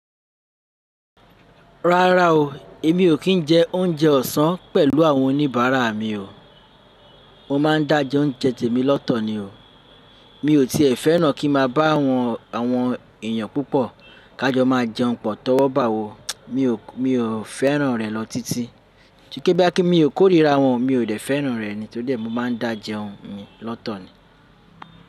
Rárá o, èmi ò kí n jẹ oúnjẹ ọ̀sán pẹ̀lú àwọn oníbàárà mi o. Mọ́ máa ń dáa jẹ oúnjẹ tèmi lọ́tọ̀ ni o. Mi ò tiẹ̀ fẹ́ràn kí n má bá àwọn, àwọn èèyàn púpọ̀, ká jọ máa jẹun pọ̀ tọ́wọ́ bà wo, mi ò, mi ò fẹ́ràn rẹ̀ lọ títí. Kí pe boyá kí mi óò kórìíra wọn o, mi ò dẹ fẹ́ràn rẹ̀ ni. Tó dé mọ máa ń dá jẹun mi lọ́tọ̀ ni.